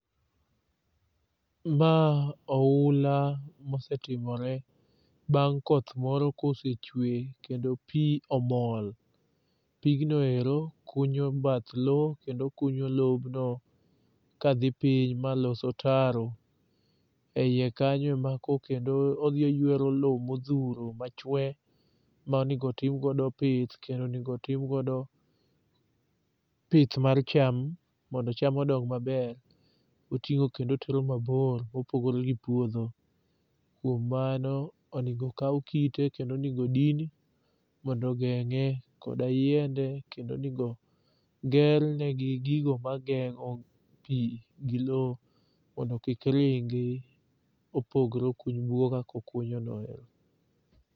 Ma oula mosetimore bang' koth moro kosechwe kendo pi omol. Pigno ero kunyo bath lo kendo kunyo lobno kadhi piny maloso otaro e iye kanyo ma ko kendo odhi oyuero lo modhuro machwe manegotimgodo pith kendo onwego timgodo pith mar cham mondo cham odong maber oting'o kendo otero mabor opogo gi puodho. Kuom mano onego kaw kite kendo onego din mondo ogeng'e koda yiende kendo onego gernegi gigo mageng'o pi gi lo mondo kik ringi opogre okuny bugo kakokunyono ero.